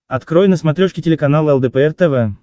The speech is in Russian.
открой на смотрешке телеканал лдпр тв